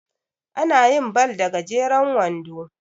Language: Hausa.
ana yin ball da gajeren wando